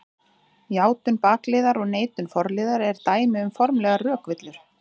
Játun bakliðar og neitun forliðar eru dæmi um formlegar rökvillur.